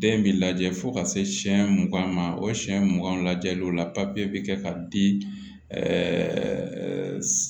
Den bi lajɛ fo ka se siɲɛ mugan ma o siɲɛ mugan lajɛliw la papiye bɛ kɛ ka di